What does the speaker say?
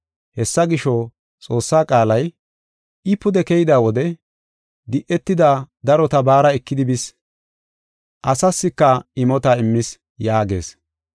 Hessa gisho, Xoossaa qaalay, “I pude keyida wode di7etida darota baara ekidi bis; asaaska imota immis” yaagees.